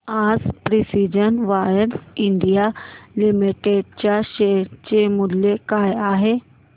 आज precision wires India limited च्या share चे मूल्य काय आहे